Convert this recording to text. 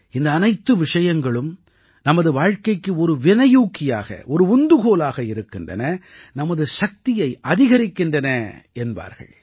இந்த அனைத்து விஷயங்களும் நமது வாழ்க்கைக்கு ஒரு வினையூக்கியாக ஒரு உந்துகோலாக இருக்கின்றன நமது சக்தியை அதிகரிக்கின்றன என்பார்கள்